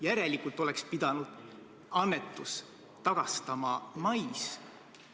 Järelikult oleks pidanud annetus tagastatama mais.